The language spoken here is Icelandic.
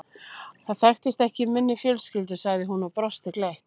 Það þekkist ekki í minni fjölskyldu sagði hún og brosti gleitt.